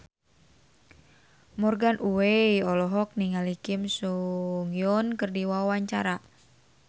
Morgan Oey olohok ningali Kim So Hyun keur diwawancara